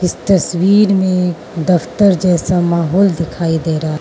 तस्वीर में दफ्तर जैसा माहौल दिखाई दे रहा--